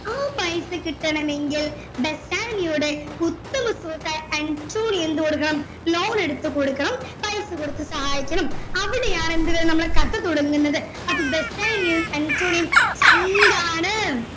ആ പൈസ കിട്ടണമെങ്കിൽ ബസ്സാനിയോയുടെ ഉത്തമ സുഹൃത്തായ അന്റോണിയോ എന്ത് കൊടുക്കണം loan എടുത്ത് കൊടുക്കണം പൈസ കൊടുത്ത് സഹായിക്കണം അവിടെയാണ് എന്ത് നമ്മുടെ കഥ തുടങ്ങുന്നത് അപ്പൊ ബസ്സാനിയോയും അന്റോണിയോയും ചങ്ക് ആണ്